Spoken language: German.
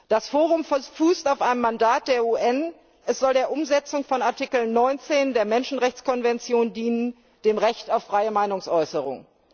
Das Forum fußt auf einem Mandat der UN Es soll der Umsetzung von Artikel 19 der Menschenrechtskonvention dienen, dem Recht auf freie Meinungsäußerung.